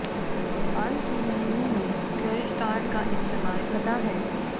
हाल के महीने में क्रेडिट कार्ड का इस्तेमाल घटा है